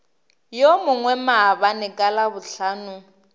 yo mongwe maabane ka labohlano